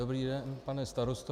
Dobrý den, pane starosto.